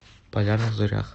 полярных зорях